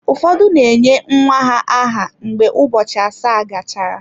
Ụfọdụ na-enye nwa ha aha mgbe ụbọchị asaa gachara.